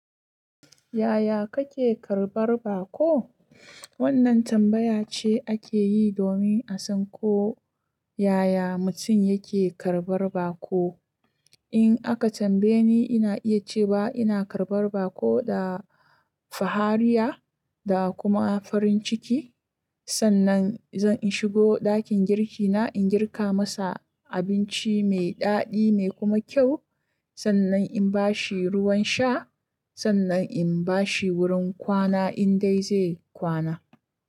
Yaya kake tarɓar bako? Wannan tambaya ce ake yi domin a san ko yaya mutum yake karɓar bako. In aka tambaye ni, ina iya cewa ina karɓar bako da fahariya da kuma farin ciki. Sannan zan shigo ɗakin girki na, in girka masa abinci mai daɗi mai kuma kyau. Sannan in bashi ruwan sha, sannan in bashi wurin kwana in dai zai kwana.